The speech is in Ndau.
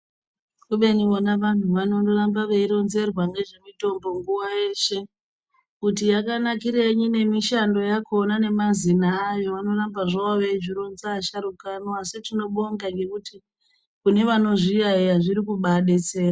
Kubeni vona vanhu vanondoramba veironzerwa ngezvemitombo nguwa yeshe kuti yakanakirei nemishando yakhona nemazina ayo anoramba zvavo veizvironza asharukwa ano asi tinobonga nekuti kune vanozviyaiya zvirikubadetsera.